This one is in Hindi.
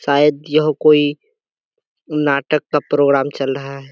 शायद यह कोई नाटक का प्रोग्राम चल रहा है।